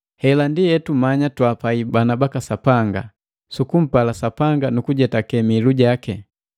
Hela ndi hetumanya twaapai bana baka Sapanga: Sukumpala Sapanga nu kujetake mihilu jaki;